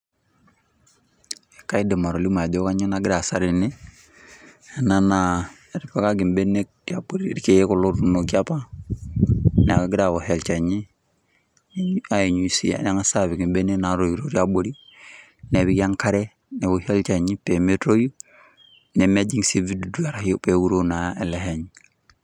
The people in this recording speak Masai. Kaidim atolimu ajo kanyoo naagira aasa tene naa etipikaki mbenek abori irkeek kulo ootunoki apa neaku egirae aosh olchani neanyu nengas aapik mbenek naatoito tiabori nepiki enkare neoshi olchani pee metum, nemtoi nemejing sii vidudu pee meuroo naa ele shani.